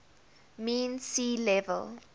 mean sea level